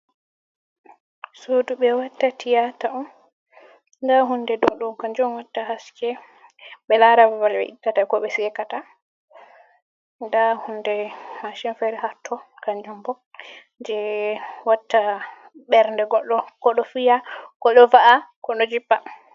Suudu ɓe watta tiyata on nda hunde ɗo kanjum watta haske be lara ɓabal be ittata, ko ɓe sekata nda hunde ha chenfere hatto kanjum bo je watta bernde goddo ko ɗo fiya ko do va’a ko do jippa.